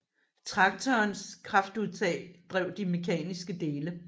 Traktorens kraftudtag drev de mekaniske dele